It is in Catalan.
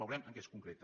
veurem en què es concreta